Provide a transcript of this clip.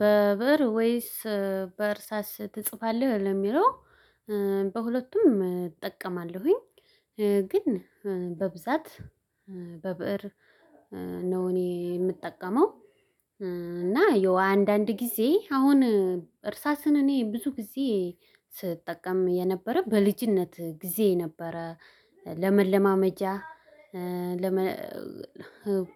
በበር ወይስ በእርሳስ ትጽፋለህ? ለሚለው በሁለቱም እጠቀማለሁኝ ግን በብዛት በብእር ነው እኔ የምጠቀመው። እና የው አንዳንድ ጊዜ አሁን እርሳስን እኔ ብዙ ጊዜ ስጠቀም የነበረ በልጅነት ጊዜ ነበረ። ለመለማመጃ ለመ